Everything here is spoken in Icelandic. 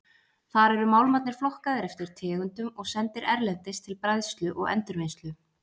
Þar eru málmarnir flokkaðir eftir tegundum og sendir erlendis til bræðslu og endurvinnslu.